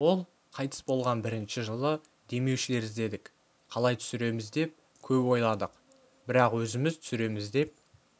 ол қайтыс болған бірінші жылы демеушілер іздедік қалай түсіреміз деп көп ойладық бірақ өзіміз түсіреміз деп